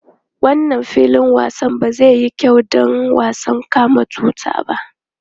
Wannan filin wasan ba zai yi kyau ba don wasan kama tuta.